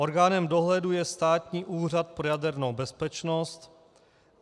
Orgánem dohledu je Státní úřad pro jadernou bezpečnost.